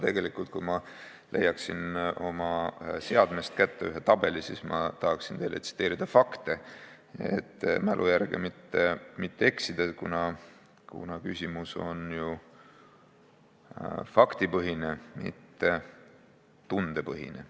Kui ma leiaksin oma seadmest kätte ühe tabeli, siis ma saaksin teile öelda fakte, et mälu järgi öeldes mitte eksida, kuna küsimus on ju faktipõhine, mitte tundepõhine.